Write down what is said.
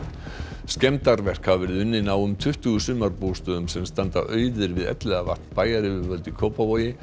skemmdarverk hafa verið unnin á um tuttugu sumarbústöðum sem standa auðir við Elliðavatn bæjaryfirvöld í Kópavogi